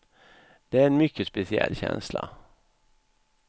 Det är en mycket speciell känsla.